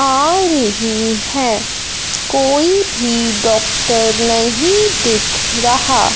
आ रही है कोई भी डॉक्टर नहीं दिख रहा।